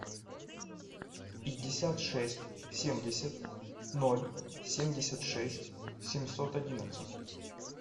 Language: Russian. пятьдесят шесть семьдесят ноль семьдесят шесть семьсот одиннадцать